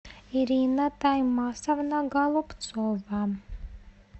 ирина таймасовна голубцова